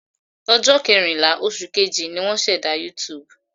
Ọjọ́ kẹrìnlá, oṣù Kejì, ni wọ́n ṣẹ̀dá YouTube.